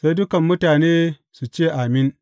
Sai dukan mutane su ce, Amin!